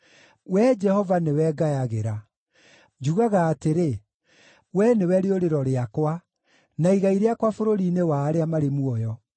Wee Jehova, nĩwe ngayagĩra; njugaga atĩrĩ, “Wee nĩwe rĩũrĩro rĩakwa, na igai rĩakwa bũrũri-inĩ wa arĩa marĩ muoyo.”